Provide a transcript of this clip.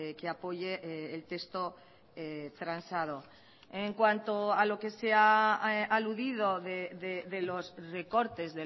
que apoye el texto transado en cuanto a lo que se ha aludido de los recortes